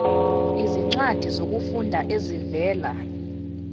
izincwadi zokufunda ezivela